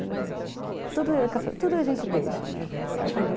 Ele... Tudo a gente deixa, né?